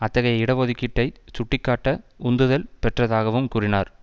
அத்தகைய இட ஒதுக்கீடைச் சுட்டிக்காட்ட உந்துதல் பெற்றதாகவும் கூறினார்